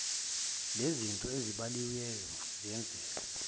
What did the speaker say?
lenzizinto ezibaliwe ziyenzeka